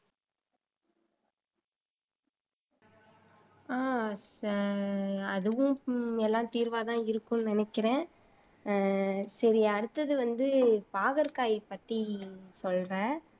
அஹ் அதுவும் எல்லாம் தீர்வா தான் இருக்கும்னு நினைக்கிறேன். ஆஹ் சரி அடுத்தது வந்து பாகற்காய் பத்தி சொல்றேன்.